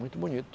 Muito bonito.